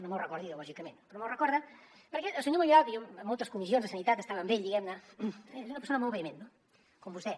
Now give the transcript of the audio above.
no me’l recorda ideològicament però me’l recorda perquè el senyor mayoral que jo a moltes comissions de sanitat estava amb ell diguem ne és una persona molt vehement no com vostè